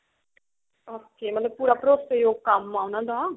okay ਮਤਲਬ ਪੂਰਾ ਭਰੋਸੇ ਯੋਗ ਕੰਮ ਹੈ ਉਹਨਾ ਦਾ